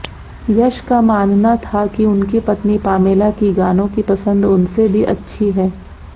यश का मानना था किउनकी पत्नी पामेला की गानों की पसंद उनसे भी अच्छी है